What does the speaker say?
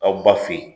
Aw ba fe yen